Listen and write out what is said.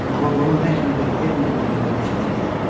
Amma bunun nə kimi bir elm olduğunu demək çətin idi.